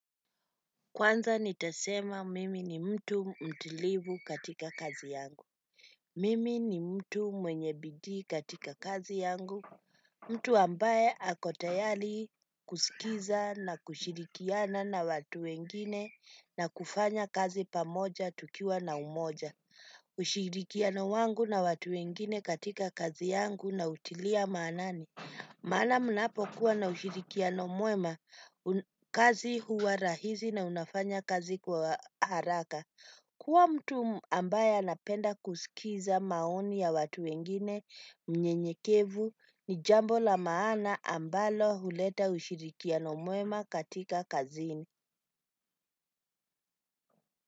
Kwanza nitasema mimi ni mtu mtilivu katika kazi yangu. Mimi ni mtu mwenye bidii katika kazi yangu. Mtu ambaye ako tayari kusikiza na kushirikiana na watu wengine na kufanya kazi pamoja tukiwa na umoja. Ushirikiano wangu na watu wengine katika kazi yangu nautilia maanani. Maana mnapo kuwa na ushirikiano mwema kazi huwa rahisi na unafanya kazi kwa haraka. Kuwa mtu ambaye anapenda kusikiza maoni ya watu wengine na mnyenyekevu ni jambo la maana ambalo huleta ushirikiano mwema katika kazi.